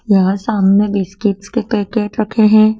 यहां सामने बिस्किट्स के पैकेट रखे हैं।